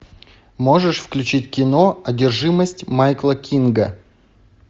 можешь включить кино одержимость майкла кинга